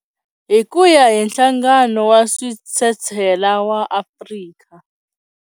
Hi ku ya hi Nhlangano wa Switshetshela wa Afrika.